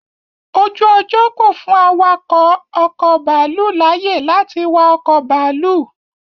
Ojú ọjọ́ kò fún awakọ̀ ọkọ̀ bàálù láyé lati wa ọkọ bàálù